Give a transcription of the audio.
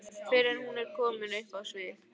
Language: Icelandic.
fyrr en hún er komin upp á svið.